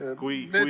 Aitäh!